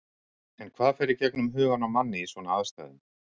En hvað fer í gegnum hugann á manni í svona aðstæðum?